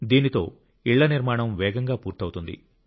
దీంతో ఇళ్ళ నిర్మాణం వేగంగా పూర్తవుతుంది